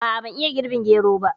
A'a ban iya girɓin gero ba